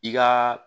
I ka